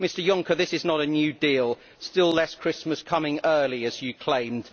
Mr Juncker, this is not a new deal still less Christmas coming early, as you claimed.